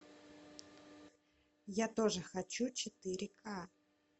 я тоже хочу четыре ка